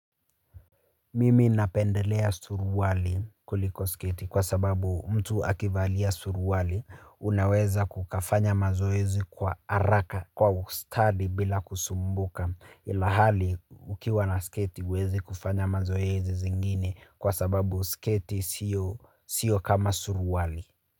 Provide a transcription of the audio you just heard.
Mimi napendelea suruali kuliko sketi kwa sababu mtu akivalia suruali unaweza ukafanya mazoezi kwa haraka. Kwa ustadi bila kusumbuka ilahali ukiwa na sketi huwezi kufanya mazoezi zingine kwa sababu sketi sio sio kama suruali.